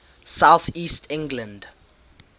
south east england